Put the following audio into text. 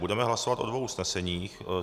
Budeme hlasovat o dvou usneseních.